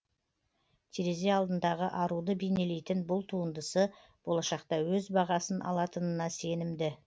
терезе алдындағы аруды бейнелейтін бұл туындысы болашақта өз бағасын алатынына сенімді